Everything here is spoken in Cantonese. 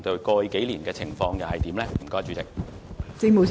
過去幾年的情況又是如何？